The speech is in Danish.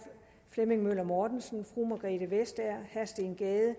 flemming møller mortensen fru margrethe vestager herre steen gade